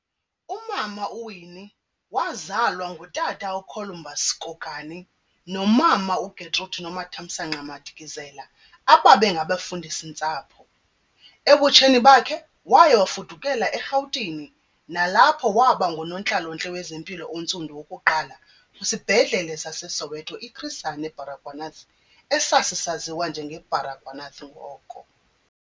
Umama uWinnie wazalwa ngutata uColumbus Kokani nomama uGetrude Nomathamsanqa Madikizela ababe ngabafundisi-ntsapho. Ebutsheni bakhe waye wafudukela eRhawutini nalapho wabangunontlalo-ntle wezempilo ontsundu wokuqala kwisibhedlele saseSoweto iChris Hani Baragwanath esasisaziwa njenge Baragwanath ngoko.